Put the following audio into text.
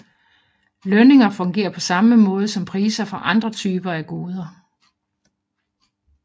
Lønninger fungerer på samme måde som priser for andre typer af goder